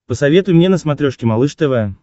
посоветуй мне на смотрешке малыш тв